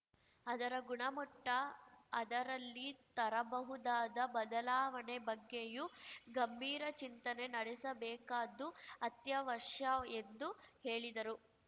ಅದರ ಗುಣಮಟ್ಟ ಅದರಲ್ಲಿ ತರಬಹುದಾದ ಬದಲಾವಣೆ ಬಗ್ಗೆಯೂ ಗಂಭೀರ ಚಿಂತನೆ ನಡೆಸಬೇಕಾದ್ದು ಅತ್ಯವಶ್ಯ ಎಂದು ಹೇಳಿದರು